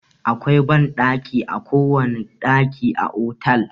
Akwai banɗanki a kowane ɗaki a otel.